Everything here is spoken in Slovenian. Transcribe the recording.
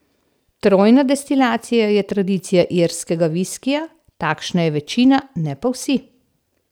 Trojna destilacija je tradicija irskega viskija, takšna je večina, ne pa vsi.